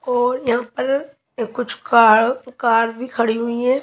और यहां पर कुछ कार कार भी खड़ी हुई हैं।